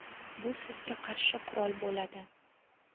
bu sizga qarshi qurol bo‘ladi.